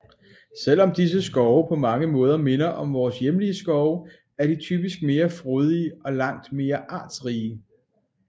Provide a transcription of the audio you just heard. Selvom disse skove på mange måder mindre om vores hjemlige skove er de typisk mere frodige og langt mere artsrige